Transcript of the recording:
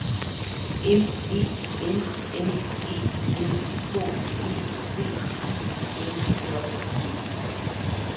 M E N N E S K E V I L J E